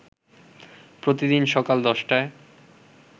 প্রতিদিন সকাল ১০টায়